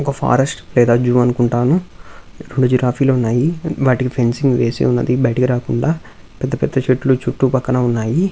ఒక ఫారెస్ట్ లేదా జూ అనుకుంటాను. రెండు జిరాఫీ లు ఉన్నాయి. వాటికి ఫెన్సింగ్ వేసి ఉన్నది బయటికి రాకుండా. పెద్ద పెద్ద చెట్లు చుట్టుపక్కన ఉన్నాయి.